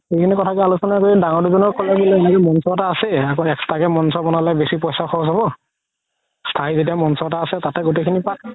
এইখিনি তথাপি আলোচনা কৰি ডাঙৰ মঞ্চ এটা আছেই আকৌ extra কে মঞ্চ বনালে বেচি পইচা খৰচ হ'ব যেতিয়া মঞ্চ এটা আছে তাতে গুতেই খিনি পাত